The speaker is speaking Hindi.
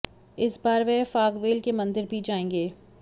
इस बार वह फागवेल के मंदिर भी जाएंगे